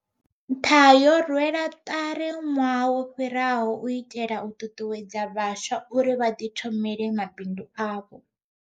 Nṱha yo rwelwa ṱari ṅwaha wo fhiraho u itela u ṱuṱuwedza vhaswa uri vha ḓithomele mabindu avho.